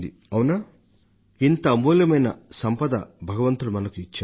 అవునా ఇంత అమూల్యమైన సంపదను దైవం ద్వారా మనం పొందాం